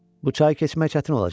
"Bu çayı keçmək çətin olacaq?"